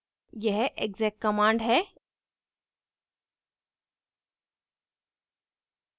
यह exec command है